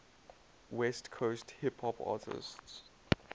west coast hip hop artists